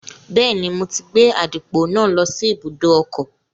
Bẹ́ẹ̀ni, mo ti gbé àdìpọ̀ náà lọ sí ibùdó ọkọ̀